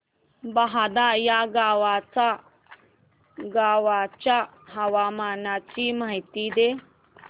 बहादा या गावाच्या हवामानाची माहिती दे